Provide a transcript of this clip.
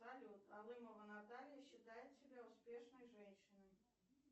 салют алымова наталья считает себя успешной женщиной